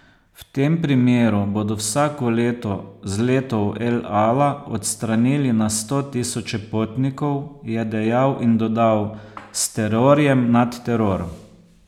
V tem primeru bodo vsako leto z letov El Ala "odstranili na sto tisoče potnikov", je dejal in dodal: "S terorjem nad teror".